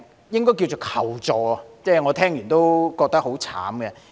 應是求助，我聽到後亦覺得當事人很慘。